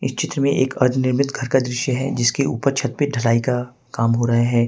इस चित्र में एक अनिर्मित घर का दृश्य है जिसके ऊपर छत पर धुलाई का काम हो रहा हैं।